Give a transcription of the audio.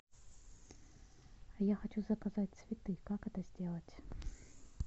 я хочу заказать цветы как это сделать